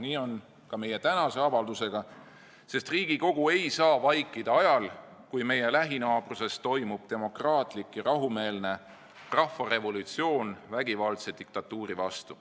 Nii on ka meie tänase avaldusega, sest Riigikogu ei saa vaikida ajal, kui meie lähinaabruses toimub demokraatlik ja rahumeelne rahvarevolutsioon vägivaldse diktatuuri vastu.